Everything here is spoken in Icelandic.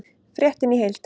Fréttin í heild